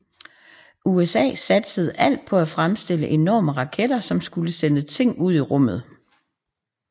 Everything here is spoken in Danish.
USA satsede alt på at fremstille enorme raketter som skulle sende ting ud i rummet